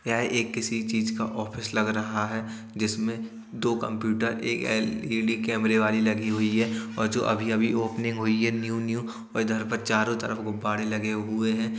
यह एक किसी चीज़ का ऑफिस लग रहा है जिसमें दो कंप्यूटर एक एल.ई.डी. कैमरे वाली लगी हुई है और जो अभी-अभी ओपनिंग हुई है न्यू न्यू और इधर पर चारों तरफ गुब्बारें लगे हुए हैं।